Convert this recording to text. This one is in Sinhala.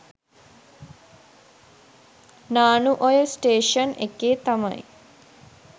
නානුඔය ස්ටේෂන් එකේ තමයි.